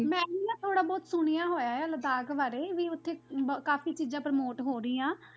ਮੈਂ ਵੀ ਨਾ ਥੋੜ੍ਹਾ ਬਹੁਤ ਸੁਣਿਆ ਹੋਇਆ ਹੈ ਲਦਾਖ ਬਾਰੇ ਵੀ ਉੱਥੇ ਕਾਫ਼ੀ ਚੀਜ਼ਾਂ promote ਹੋ ਰਹੀਆਂ।